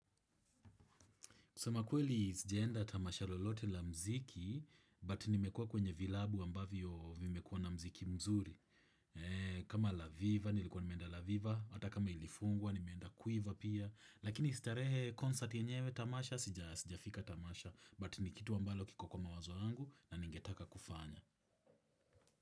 Kusema kweli sijaenda tamasha lolote la mziki, but nimekuwa kwenye vilabu ambavyo vimekua na mziki mzuri. Kama la viva, nilikuwa nimenda la viva, hata kama ilifungwa, nimeenda quiver pia. Lakini starehe concert yenyewe tamasha, sijafika tamasha. But ni kitu ambalo kiko kwa mawazo yangu na ningetaka kufanya.